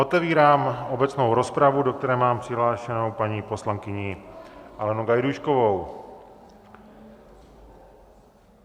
Otevírám obecnou rozpravu, do které mám přihlášenou paní poslankyni Alenu Gajdůškovou.